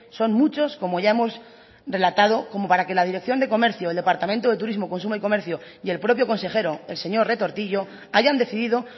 son muchos como ya hemos relatado como para que la dirección de comercio el departamento de turismo consumo y comercio y el propio consejero el señor retortillo hayan decidido